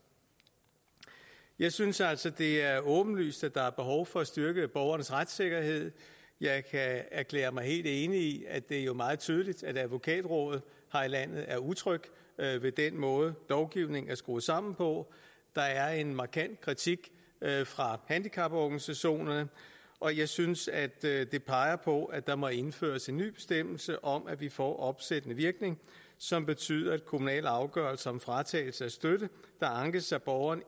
jeg synes altså det er åbenlyst at der er behov for at styrke borgernes retssikkerhed jeg kan erklære mig helt enig i at det jo er meget tydeligt at advokatrådet her i landet er utrygge ved den måde lovgivningen er skruet sammen på der er en markant kritik fra handicaporganisationerne og jeg synes det peger på at der må indføres en ny bestemmelse om at vi får opsættende virkning som betyder at kommunale afgørelser om fratagelse af støtte der ankes af borgerne